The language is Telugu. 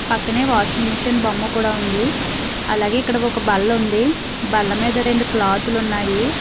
పక్కనే వాషింగ్ మిషన్ బొమ్మ కూడా ఉంది అలాగే ఇక్కడ ఒక బల్ల ఉంది బల్ల మీద రెండు క్లోత్ లు ఉన్నాయి.